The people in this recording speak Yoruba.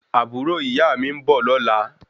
Àbúrò ìyáà mi ń bọ̀ lọ́la